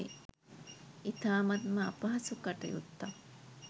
ඉතාමත්ම අපහසු කටයුත්තක්.